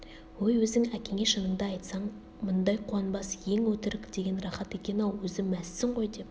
өй өзің әкеңе шыныңды айтсаң мұндай қуанбас ең өтірік деген рахат екен-ау өзі мәзсің ғой деп